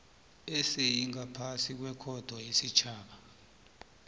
esingaphasi kwekhotho yesitjhaba